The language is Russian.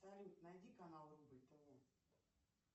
салют найди канал рубль тв